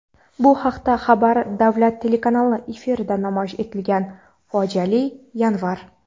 Bu haqda "Xabar" davlat telekanali efirida namoyish etilgan "Fojiali yanvar.